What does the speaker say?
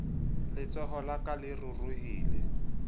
letsoho la ka le ruruhile